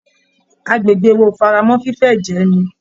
Agbègbè wa ò faramọ́ fífé ẹ̀jẹ̀ ẹni